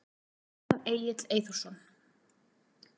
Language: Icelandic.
Jón Egill Eyþórsson.